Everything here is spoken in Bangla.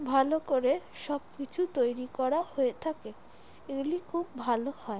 ভালো করে সব কিছু তৈরি করা হয়ে থাকে । এগুলো খুব ভালো হয় ।